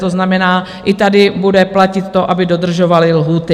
To znamená, i tady bude platit to, aby dodržovali lhůty.